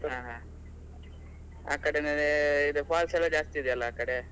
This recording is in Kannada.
ಹಾ ಹಾ ಆ ಕಡೆನೇ ಇದು falls ಎಲ್ಲಾ ಜಾಸ್ತಿ ಇದೆ ಅಲ್ಲಾ ಆ ಕಡೆ